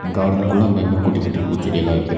காடன்குள்ள அங்கங்க குட்டி குட்டி பூச்செடி எல்லா இருக்கு.